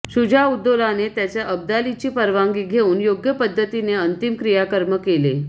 शुजाउद्दोलाने त्याचे अब्दालीची परवानगी घेऊन योग्य पद्धतीने अंतिम क्रियाकर्म केले